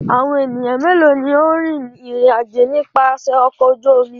Àwọn ènìyàn mélòó ni ó rìn ìrìnàjò nípasẹ̀ ọkọ̀ ojú omi?